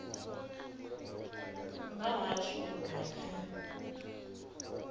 vha hashu u bva kha